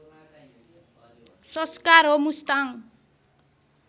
संस्कार हो मुस्ताङ